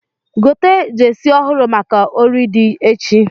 Gote jesi ọhụrụ maka ori di echi